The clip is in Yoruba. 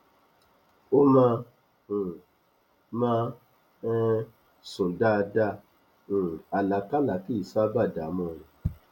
ó máa um máa um n sùn dáadáa um àlákálá kìí ṣábà dààmú rẹ